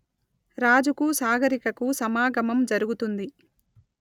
రాజుకూ సాగరికకూ సమాగమం జరుగుతుంది